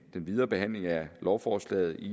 videre behandling af lovforslaget i